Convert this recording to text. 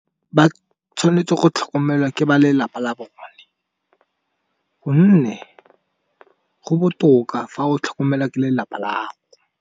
Ba tshwanetse go tlhokomelwa ke ba lelapa la bone, gonne go botoka fa o tlhokomelwa ke lelapa.